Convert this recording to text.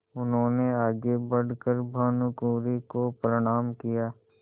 उन्होंने आगे बढ़ कर भानुकुँवरि को प्रणाम किया